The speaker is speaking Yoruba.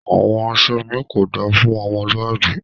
Awọn aṣọ mi kò dá fún ọmọlúàbí